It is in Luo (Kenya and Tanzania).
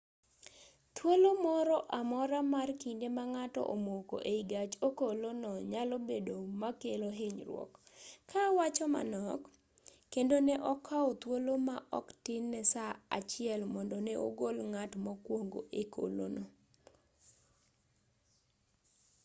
thuolo moro amora mar kinde ma ng'ato omoko ei gach okolo no nyalo bedo makelo hinyruok ka awacho manok kendo ne okao thuolo ma oktin ne saa achiel mondo ne ogol ng'at mokwongo e okolo no